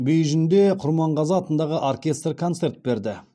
бейжіңде құрманғазы атындағы оркестр концерт берді